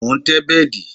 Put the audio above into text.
Mo ń tẹ́ bẹ́dì